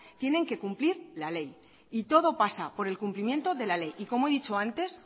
tienen que cumplir la ley y todo pasa por el cumplimiento de la ley y como he dicho antes